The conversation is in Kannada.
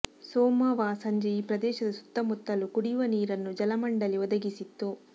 ಸೋಮವಾ ಸಂಜೆ ಈ ಪ್ರದೇಶದ ಸುತ್ತಮುತ್ತಲೂ ಕುಡಿಯುವ ನೀರನ್ನು ಜಲಮಂಡಳಿ ಒದಗಿಸಿತ್ತು